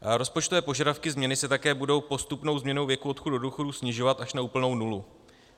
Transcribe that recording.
Rozpočtové požadavky změny se také budou postupnou změnou věku odchodu do důchodu snižovat až na úplnou nulu.